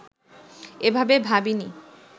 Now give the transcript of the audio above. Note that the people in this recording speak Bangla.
এভাবে ভাবিনি